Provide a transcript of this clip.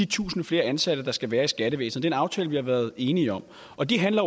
tusind flere ansatte der skal være i skattevæsenet en aftale vi har været enige om og det handler